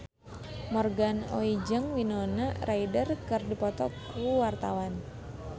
Morgan Oey jeung Winona Ryder keur dipoto ku wartawan